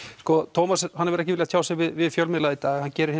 Tómas hefur ekki viljað tjá sig við fjölmiðla í dag en gerir